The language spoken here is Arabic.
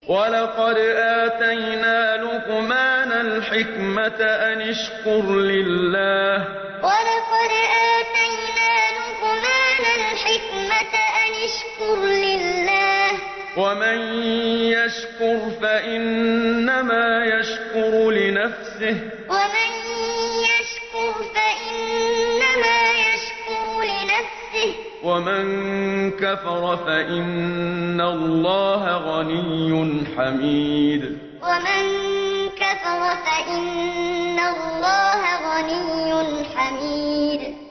وَلَقَدْ آتَيْنَا لُقْمَانَ الْحِكْمَةَ أَنِ اشْكُرْ لِلَّهِ ۚ وَمَن يَشْكُرْ فَإِنَّمَا يَشْكُرُ لِنَفْسِهِ ۖ وَمَن كَفَرَ فَإِنَّ اللَّهَ غَنِيٌّ حَمِيدٌ وَلَقَدْ آتَيْنَا لُقْمَانَ الْحِكْمَةَ أَنِ اشْكُرْ لِلَّهِ ۚ وَمَن يَشْكُرْ فَإِنَّمَا يَشْكُرُ لِنَفْسِهِ ۖ وَمَن كَفَرَ فَإِنَّ اللَّهَ غَنِيٌّ حَمِيدٌ